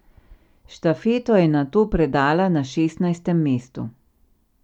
Štafeto je nato predala na šestnajstem mestu.